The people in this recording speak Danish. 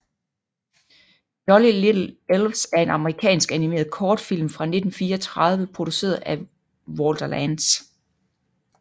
Jolly Little Elves er en amerikansk animeret kortfilm fra 1934 produceret af Walter Lantz